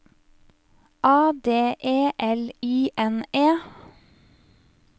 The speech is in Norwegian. A D E L I N E